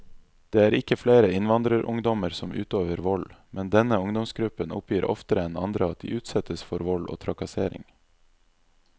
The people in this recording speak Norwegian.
Det er ikke flere innvandrerungdommer som utøver vold, men denne ungdomsgruppen oppgir oftere enn andre at de utsettes for vold og trakassering.